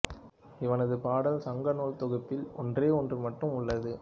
இவனது பாடல் சங்கநூல் தொகுப்பில் ஒன்றே ஒன்று மட்டும் உள்ளது